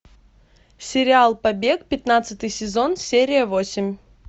сериал побег пятнадцатый сезон серия восемь